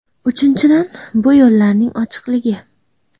Uchinchidan, bu yo‘llarning ochiqligi.